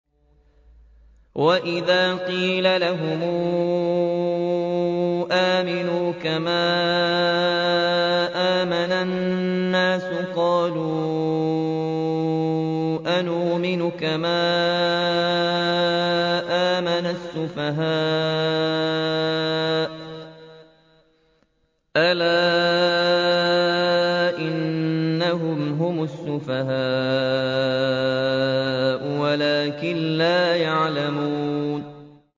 وَإِذَا قِيلَ لَهُمْ آمِنُوا كَمَا آمَنَ النَّاسُ قَالُوا أَنُؤْمِنُ كَمَا آمَنَ السُّفَهَاءُ ۗ أَلَا إِنَّهُمْ هُمُ السُّفَهَاءُ وَلَٰكِن لَّا يَعْلَمُونَ